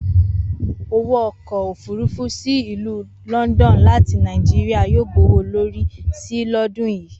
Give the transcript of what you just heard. Owó ọkọ̀ òfúrufú sì ìlú London láti Nàìjíríà yóò gbowó lórí si lọ́dún yìí